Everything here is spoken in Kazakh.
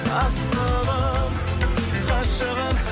асылым ғашығым